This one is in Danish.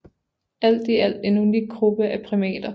Alt i alt en unik gruppe af primater